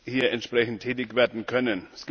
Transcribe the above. hier entsprechend tätig werden können.